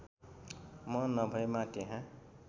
म नभएमा त्यहाँ